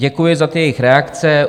Děkuji za ty jejich reakce.